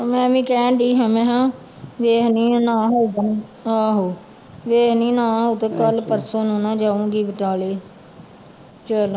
ਮੈਂ ਵੀ ਕਹਿਣਡੀ ਹਾਂ ਮੈਂ ਕਿਹਾ ਵੇਖਦੀ ਹਾਂ ਆਹੋ ਵੇਖਦੀ ਨਾ ਆਊ ਤੇ ਕੱਲ੍ਹ ਪਰਸੋਂ ਨੂੰ ਨਾ ਜਾਊਂਗੀ ਬਟਾਲੇ ਚਲੋ